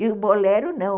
E o bolero, não.